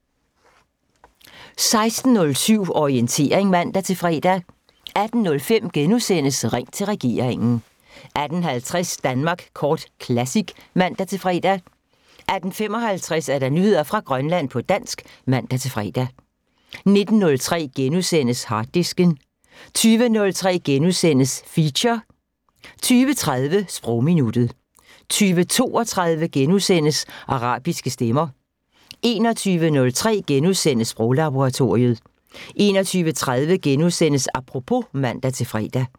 16:07: Orientering (man-fre) 18:05: Ring til regeringen * 18:50: Danmark Kort Classic (man-fre) 18:55: Nyheder fra Grønland på dansk (man-fre) 19:03: Harddisken * 20:03: Feature * 20:30: Sprogminuttet 20:32: Arabiske stemmer * 21:03: Sproglaboratoriet * 21:30: Apropos *(man-fre)